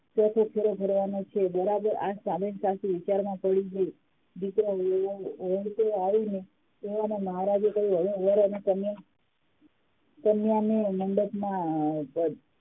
ચોથો ફેરો ફરવાનો છે બરાબર આ પાછી વિચારમાં પડી ગઈ દીકરો ઓળંગતો આવીને તેવામાં મહારાજે કહ્યું હવે વર અને કન્યાને કન્યાને મંડપમાં